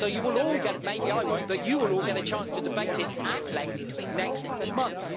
So maybe I won't, but you will all get a chance to debate this at length next month.